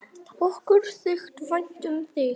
Okkur þykir vænt um þig.